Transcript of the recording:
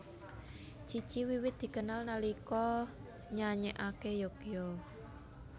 Cici wiwit dikenal nalika nyanyékaké Yogya